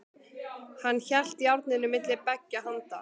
Hann hélt járninu milli beggja handa.